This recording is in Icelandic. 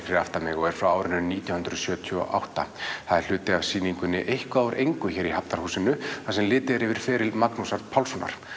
fyrir aftan mig og er frá árinu nítján hundruð sjötíu og átta það er hluti af sýningunni eitthvað úr engu hér í Hafnarhúsinu þar sem litið er yfir feril Magnúsar Pálssonar